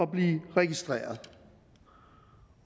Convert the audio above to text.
blive registreret